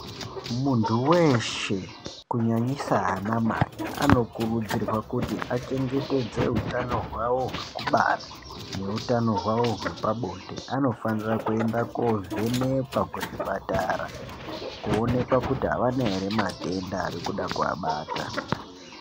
Muntu veshe kunyanyisa anamai anokurudzirwa kuti achengetedze utano hwavo hwekubara neutano hwavo hwepabonde. Anofanira kuenda kovhenekwa kuchipatara kuonekwa kuti havana ere matenda arikuda kuvabata.